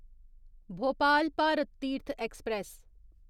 Bhopal Bharat Tirth express